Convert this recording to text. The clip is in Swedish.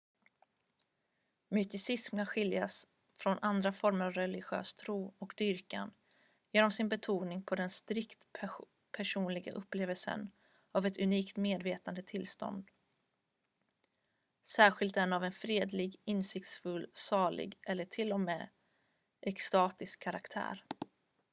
mysticism kan skiljas från andra former av religiös tro och dyrkan genom sin betoning på den strikt personliga upplevelsen av ett unikt medvetandetillstånd särskilt den av en fredlig insiktsfull salig eller till och med extatisk karaktär